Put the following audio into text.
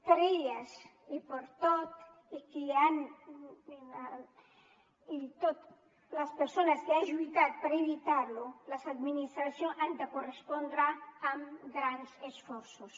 per elles i per totes les persones que han lluitat per evitar lo les administracions han de correspondre amb grans esforços